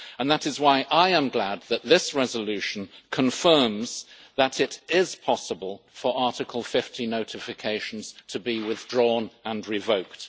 That is why I am glad that this resolution confirms that it is possible for Article 50 notifications to be withdrawn and revoked.